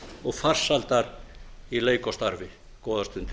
og farsældar í leik og starfi góðar stundir